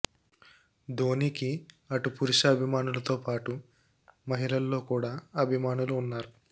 ధోనికి అటు పురుష అభిమానులతో పాటు మహిళల్లో కూడా అభిమానులు ఉన్నారు